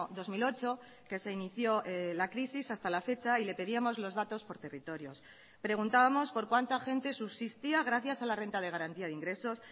dos mil ocho que se inició la crisis hasta la fecha y le pedíamos los datos por territorios preguntábamos por cuánta gente subsistía gracias a la renta de garantía de ingresos